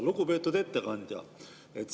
Lugupeetud ettekandja!